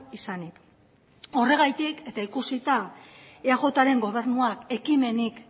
izanik horregatik eta ikusita eajren gobernuak ekimenik